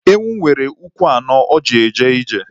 Ewu nwere ụkwụ anọ o ji eje ije